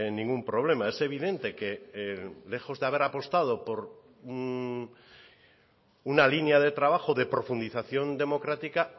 ningún problema es evidente que lejos de haber apostado por una línea de trabajo de profundización democrática